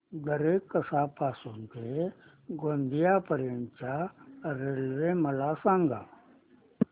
दरेकसा पासून ते गोंदिया पर्यंत च्या रेल्वे मला सांगा